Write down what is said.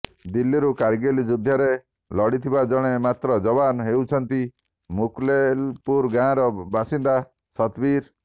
ଦିଲ୍ଲୀରୁ କାରଗିଲ୍ ଯୁଦ୍ଧରେ ଲଢିଥିବା ଜଣେ ମାତ୍ର ଯବାନ୍ ହେଉଛନ୍ତି ମୁଖମେଲପୁର ଗାଁର ବାସିନ୍ଦା ସତବୀର